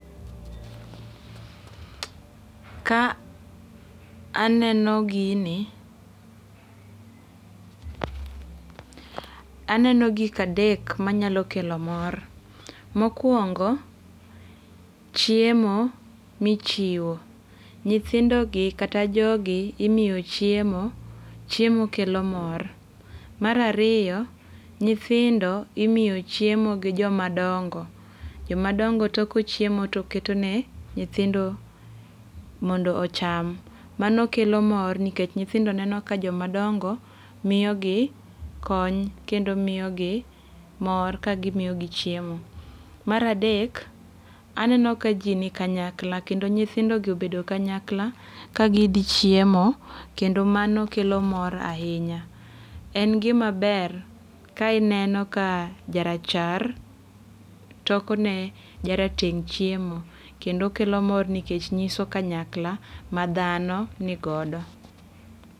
Ka aneno gini. Aneno gik adek manyalo kelo mor. Mokuongo, chiemo michiwo. Nyithindo gi kata jodi imiyo chiemo. Chiemo kelo mor. Mar ariyo, nyithindo imiyo chiemo gi joma dongo. Joma dongo toko chiemo to keto ne nyithindo mondo ocham. Mano kelo mor nikech nyithindo neno ka joma dongo miyo gi kony kendo miyo gi mor ka gimiyogi chiemo. Mar adek, aneno ka ji ni kanyakla kendo nyithindo gi obedo kanyakla ka gidhi chiemo kendo mano kelo mor ahinya. En gima ber ka ineno ka jarachar toko ne jarateng' chiemo. Kendo kelo mor nikech nyiso kanyakla ma dhano nigodo.